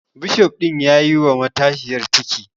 Bishof ɗin yayi wa matashiyar ciki